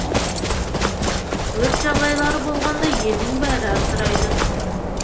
өрт жағдайлары болғанда елдің бәрі абдырайды